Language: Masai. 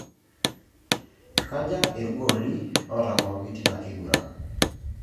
Kaja irgolii ootang'oroki tina kiguran?